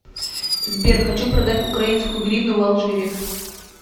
сбер хочу продать украинскую гривну в алжире